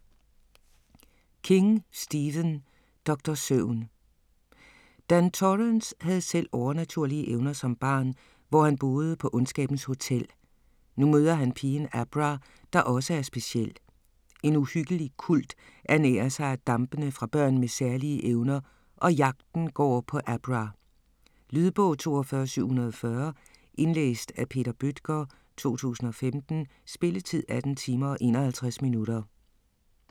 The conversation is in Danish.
King, Stephen: Doktor Søvn Dan Torrance havde selv overnaturlige evner som barn, hvor han boede på ondskabens hotel. Nu møder han pigen Abra, der også er speciel. En uhyggelig kult ernærer sig af dampene fra børn med særlige evner, og jagten går på Abra. Lydbog 42740 Indlæst af Peter Bøttger, 2015. Spilletid: 18 timer, 51 minutter.